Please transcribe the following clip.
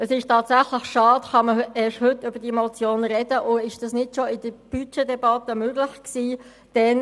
Es ist tatsächlich schade, dass man erst heute über diese Motion sprechen kann und dies nicht bereits während der Budgetdebatte möglich gewesen ist.